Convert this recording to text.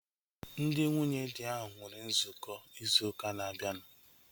Ndị nwunye dị ahu nwere nzukọ ịzụ ụka na-abianu